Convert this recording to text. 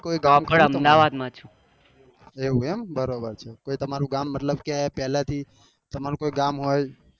એવું છે એમ બરાબર છે કોઈ તમારું ગામ મતલબ કે પેલે થી તમારું કોઈ ગામ હોય